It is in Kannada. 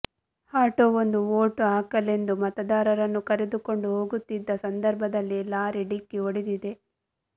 ಆಟೋವೊಂದು ವೋಟ್ ಹಾಕಲೆಂದು ಮತದಾರರನ್ನು ಕರೆದುಕೊಂಡು ಹೋಗುತ್ತಿದ್ದ ಸಂದರ್ಭದಲ್ಲಿ ಲಾರಿ ಡಿಕ್ಕಿ ಹೊಡೆದಿದೆ